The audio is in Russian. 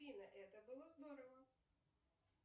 нр это было здорово